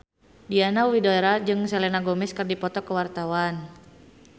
Diana Widoera jeung Selena Gomez keur dipoto ku wartawan